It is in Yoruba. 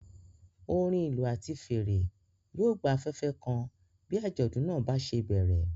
Orin ìlú àti fèrè yóò gba afẹ́fẹ́ kan bí àjọ̀dún náà bá ṣe bẹ̀rẹ̀.